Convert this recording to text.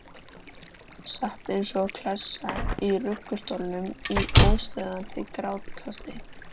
Sat eins og klessa í ruggustólnum í óstöðvandi grátkasti.